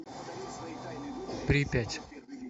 припять